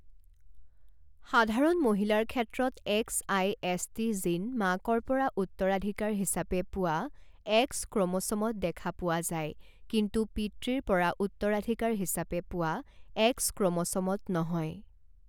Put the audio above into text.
সাধাৰণ মহিলাৰ ক্ষেত্ৰত এক্সআইএচটি জিন মাকৰ পৰা উত্তৰাধিকাৰ হিচাপে পোৱা এক্স ক্ৰম'ছ'মত দেখা পোৱা যায় কিন্তু পিতৃৰ পৰা উত্তৰাধিকাৰ হিচাপে পোৱা এক্স ক্ৰম'ছ'মত নহয়।